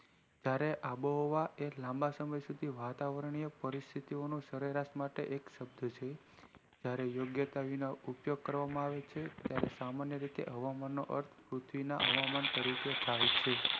ત્યારે આંબો હવા એક લાંબા સમય શુધી વાતાવરણીય પરિસ્થિતિ માટે સરેરાશ માટે એક સભ્યં છે ત્યારે યોગ્યતા વિના ઉપયોગ કરવામાં આવે છે ત્યારે સામાન્ય રીતે હવામાન નો અર્થ પૃથ્વી ના હવન તરીકે થાય છે